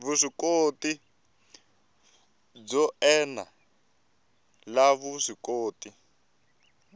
vuswikoti byo ene la vuswikoti